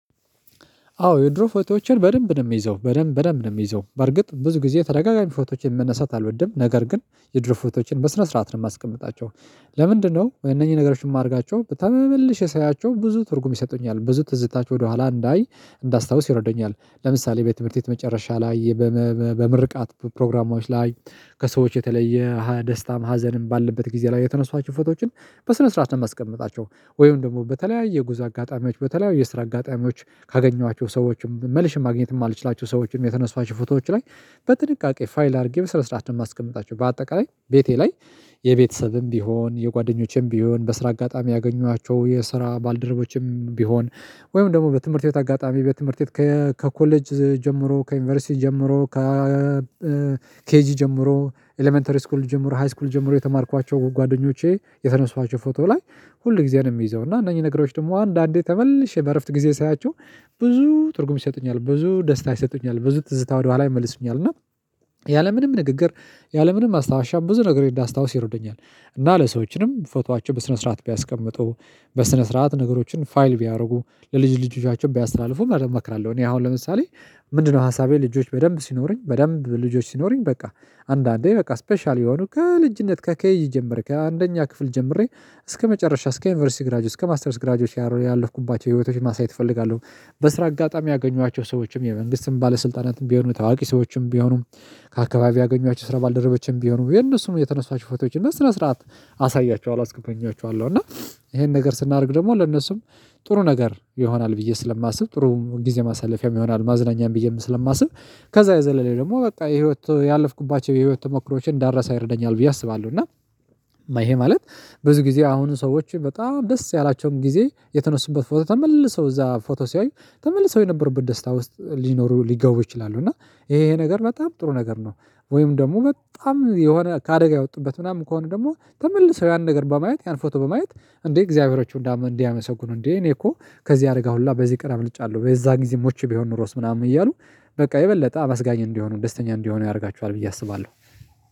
አዎ የድሮ ፎቶዎችን በደንብ ነው የሚይዘው በደንብ በደንብ ነው የሚይዘው በርግጥ ብዙ ጊዜ ተደጋጋሚ ፎቶዎችን መነሳት አልወድም ነገር ግን የድሮ ፎቶዎችን በስነ ስርዓት ነው የማስቀምጣቸው። ለምንድነው እነኚህ ነገሮችን የማደርጋቸው ተመልሼ ሳያቸው ብዙ ትርጉም ይሰጡኛል ብዙ ትዝታ ወደኋላ እንዳይ እንዳስታውስ ይረዱኛል። ለምሳሌ በ ትምህርት ቤት መጨረሻ ላይ በምርቃት ፕሮግራሞች ላይ ከሰዎች የተለየ ደስታም ሀዘንም ባለበት ጊዜ ላይ የተነሳዋቸው ፎቶዎችን በስነ ስርዓት ነው የማስቀምጣቸው ወይም ደግሞ በተለያየ የጉዝ አጋጣሚዎች በተለያዩ የስራ አጋጣሚዎች ካገኘኋቸው ሰዎችም መልሼ ማግኘት የማልችላቸው ሰዎችም የተነሳዋቸው ፎቶዎች ላይ በጥንቃቄ ፋይል አድርጌ በስነስርዓት ነው የማስቀምጣቸው። በአጠቃላይ ቤቴ ላይ የቤተሰብም ቢሆን የጓደኞችም ቢሆን በስራ አጋጣሚ ያገኘኋቸው የስራ ባልደረቦችም ቢሆን ወይም ደግሞ በትምህርት ቤት አጋጣሚ በትምህርት ቤት ከኮሌጅ ጀምሮ ከዩኒቨርሲቲ ጀምሮ ከ ኬጂ ጀምሮ ኤለመንተሪ ስኩል ጀምሮ ሃይስኩል ጀምሮ የተማርኳቸው ጓደኞቼ የተነሳዋቸው ፎቶ ላይ ሁል ጊዜ ነው የምይዘው እና እነኚህ ነገሮች ደግሞ አንዳንዴ ተመልሼ በእረፍት ጊዜ ሳያቸው ብዙ ትርጉም ይሰጡኛል ብዙ ደስታ ይሰጡኛል ብዙ ትዝታ ወደኋላ ይመልስኛል። እና ንግግር ያለምንም ማስታውሻ ብዙ ነገሮች እንዳስታውስ ይረዱኛል እና ለሰዎችንም ፎቶአቸውን በስነ ስርዓት ቢያስቀምጡ በስነ ስርዓት ነገሮችን ፋይል ቢያደርጉ ለልጅ ልጆቻቸው ቢያስተላልፉም እመክራለሁ። እኔ አሁን ለምሳሌ ምንድነው ሀሳቤ ልጆች በደንብ ሲኖረኝ በደንብ ልጆች ሲኖረኝ በቃ አንዳንዴ በቃ ስፔሻል የሆኑ ከልጅነት ከኬጂ ጀመሬ ከአንደኛ ክፍል ጀምሬ እስከመጨረሻ እስከ ዩኒቨርሲቲ ግራጁዌት እስከ ማስተርስ ግራጁዌት ያለፍኩባቸው ህይወቶችን ማሳየት እፈልጋለሁ። በስራ አጋጣሚ ያገኟቸው ሰዎችም የመንግስትን ባለስልጣናትን ቢሆኑ ታዋቂ ሰዎችም ቢሆኑ ከአካባቢ ያገኘኋቸው የስራ ባልደረበችም ቢሆኑ የነሱን የተነሷቸውን ፎቶዎችን በስነ ስርዓት አሳያቸኋለሁ አስጎበኛቸኋለሁ እና ይሄን ነገር ስናደርግ ደግሞ ለነሱም ጥሩ ነገር ይሆናል ብዬ ስለማስብ ጥሩ ጊዜ ማሳለፊያም ይሆናል ማዝናኛም ብዬም ስለማስብ። ከዛ የዘለለ ደግሞ በቃ የህይወት ያለፍኩባቸው የህይወት ተሞክሮዎችን እንዳረሳ ይረደኛል ብዬ አስባለሁ። እና ይሄ ማለት ብዙ ጊዜ አሁን ሰዎችን በጣም ደስ ያላቸውን ጊዜ የተነሱበት ፎቶ ተመልሰው እዛ ፎቶ ሲያዩ ተመልሰው የነበሩበት ደስታ ውስጥ ሊኖሩ ሊገቡ ይችላሉ እና ይሄ ይሄ ነገር በጣም ጥሩ ነገር ነው። ወይም ደግሞ በጣም የሆነ ከአደጋ የወጡበት ምናምን ከሆነ ደግሞ ተመልሰው ያን ነገር በማየት ያን ፎቶ በማየት እንዴ እግዚአብሔሮቹ እንዲያመሰግኑ እንዴ እኔ እኮ ከዚህ አደጋ ሁላ በዚህ ቀን አምልጫለሁ በዛ ጊዜ ሞቼ ቢሆን ኖሮስ ምናምን እያሉ በቃ የበለጠ አመስጋኝ እንዲሆኑ ደስተኛ እንዲሆኑ ያደርጋቸኋል። ብዬ አስባለሁ